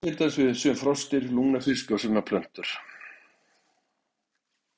Það á til dæmis við um sum froskdýr, lungnafiska og sumar plöntur.